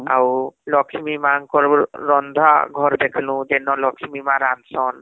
ଲୁକ୍ଷ୍ମୀ ମା ଙ୍କର ରନ୍ଧା ଘର ଦେଖଃଲୁ ଯେନ ଲକ୍ଷ୍ମୀ ମା ରାନ୍ଧସନ